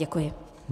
Děkuji.